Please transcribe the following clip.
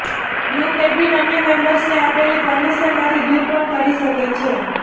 group admin અન્ય મેમ્બર્સને આપેલી પરમિશન માંથી દૂર પણ કરી શકે છે